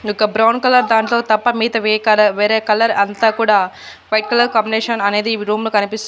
ఒక్క brown colour దాంట్లో తప్ప మిగతావి వే కల వేరే కలర్ అంత కూడా వైట్ కలర్ కాంబినేషన్ అనేది వీ రూమ్ లో కనిపిస్--